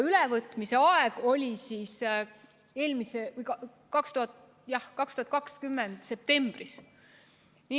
Ülevõtmise tähtaeg oli 2020. aasta septembris.